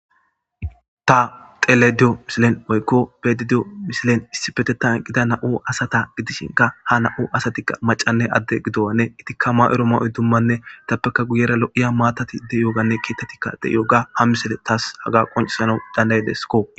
ta telediyo mishilen oykko bedidiyo mishilen issi petetan gida na7u asata gidishinka ha na7u asatikka macanne adde gidowanne itikka ma7ero ma7oy dummanne itappeka guyera lo7iya maatatide yooganne keetetikka de7iyo ga ha misile taas haga qoncisana dandaydesko